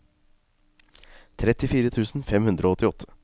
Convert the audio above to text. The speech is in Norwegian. trettifire tusen fem hundre og åttiåtte